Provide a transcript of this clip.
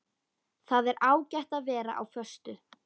Það er ágætt að vera á föstu.